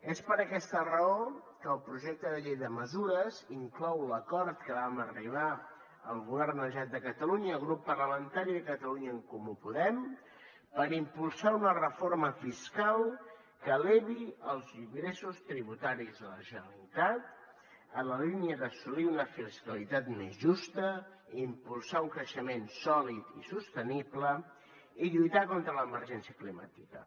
és per aquesta raó que el projecte de llei de mesures inclou l’acord a què vam arribar el govern la generalitat de catalunya el grup parlamentari de catalunya en comú podem per impulsar una reforma fiscal que elevi els ingressos tributaris de la generalitat en la línia d’assolir una fiscalitat més justa i impulsar un creixement sòlid i sostenible i lluitar contra l’emergència climàtica